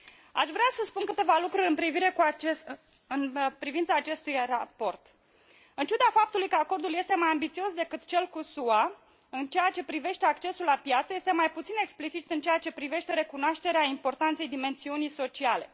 Aș vrea să spun câteva lucruri în privința acestui raport în ciuda faptului că acordul este mai ambițios decât cel cu SUA în ceea ce privește accesul la piață, este mai puțin explicit în ceea ce privește recunoașterea importanței dimensiunii sociale.